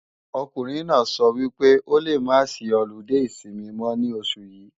Ọkùnrin náà sọ wípé o lè máa sí ọludé ìsinmi mọ́ ní oṣù yí